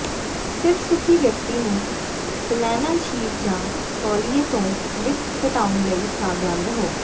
ਸਿਰਫ ਸੁਖੀ ਵਿਅਕਤੀ ਨੂੰ ਫਲੈੱਨਲ ਸ਼ੀਟ ਜਾਂ ਤੌਲੀਏ ਤੋਂ ਲਿਂਟ ਘਟਾਉਣ ਲਈ ਸਾਵਧਾਨ ਰਹੋ